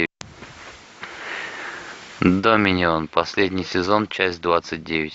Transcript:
доминион последний сезон часть двадцать девять